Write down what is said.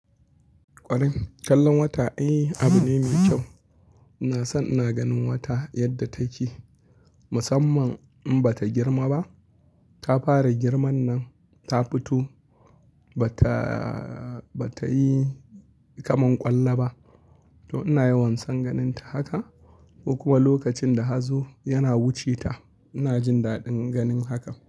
Ƙwarai kallon wata, eh, abu ne mai kyau. Ina son ina ganin wata yadda take. Musamman in bata girma ba, ta fara girman nan, ta fito bata, bata yi kaman ƙwallo ba. To ina yawan son ganinta haka. Ko kuma lokacin da hazo yana wuce ta, ina jin daɗin ganin haka.